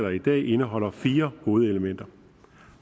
i dag indeholder fire hovedelementer